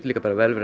vel verið